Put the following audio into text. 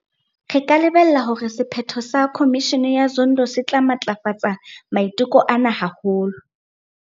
Re ka lebella hore sephetho sa Khomishene ya Zondo se tla matlafatsa maiteko ana haholo.